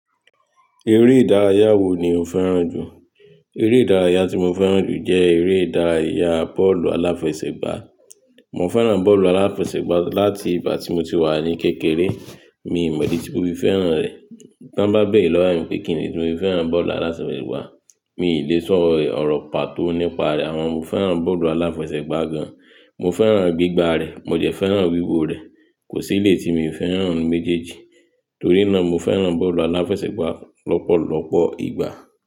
Eré ìdárayá wo ni o fẹ́ràn jù? Eré ìdárayá tí mo fẹ́ràn jù jẹ́ eré ìdárayá bọ́ọ̀lù aláfẹsẹ̀gbá. Mo fẹ́ràn bọ́ọ̀lù aláfẹsẹ̀gbá láti ìgbà tí mo ti wà ní kékeré, mi ò mọ̀ bí mo fi fẹ́ràn rẹ̀. Tí wọ́n bá bẹ̀rẹ̀ lọ́rùn pé kíni nítorí mo fẹ́ràn bọ́ọ̀lù aláfẹsẹ̀gbá, mi ò le sọ ọ̀rọ̀ pàtó nípa rẹ̀. Àwọn mo fẹ́ràn bọ́ọ̀lù aláfẹsẹ̀gbá gan-an, mo fẹ́ràn gbígba rẹ̀, mo jẹ fẹ́ràn wíwo rẹ̀, kò sí ilé tí mi ò fẹ́ràn méjèèjì. Torí náà mo fẹ́ràn bọ́ọ̀lù aláfẹsẹ̀gbá lọ́pọ̀lọpọ̀ ìgbà.